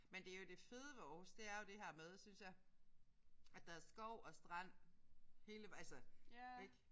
Men det er jo det fede ved Aarhus det er jo det her med synes jeg at der er skov og strand hele altså ik